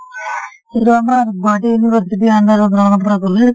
এইটো আমাৰ গুৱাহাটী university ৰ under ত ৰঙাপাৰা college ।